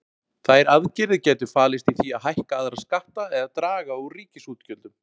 Þær aðgerðir gætu falist í því að hækka aðra skatta eða draga úr ríkisútgjöldum.